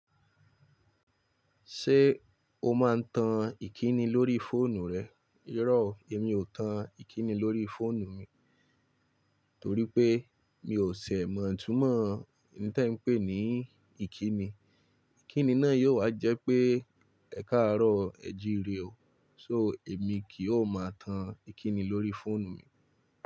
Ṣé o máa ń tan ìkíni lórí fóònù rẹ? Iro o, èmi ò tan ìkíni lórí fóònù mi, torí pé mi ò ṣẹ̀ mọ̀ itúnmọ̀ iin tí ẹ ń pè ní ìkíni. Ìkíni náà yóò wá jẹ́ pé, ẹ káàárọ̀ o, ẹ jíire o. So, èmi kì o máa tan ìkíni lórí fóònù mi.